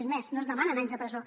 és més no es demanen anys de presó